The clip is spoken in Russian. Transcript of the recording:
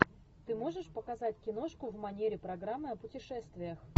ты можешь показать киношку в манере программы о путешествиях